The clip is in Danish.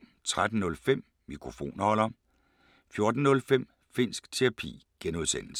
13:05: Mikrofonholder 14:05: Finnsk Terapi (G)